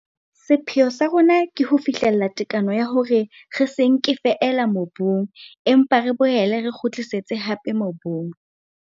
Sepheo sa rona ke ho fihlella tekano ya hore re se nke feela mobung empa re boele re kgutlisetse hape mobung.